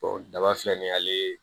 daba filɛ nin ye ale